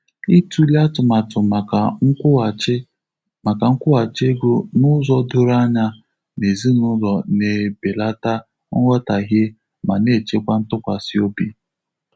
Ịtụle atụmatụ maka nkwughachi maka nkwughachi ego n'ụzọ doro anya n'ezinụlọ na-ebelata nghọtahie ma na-echekwa ntụkwasị obi.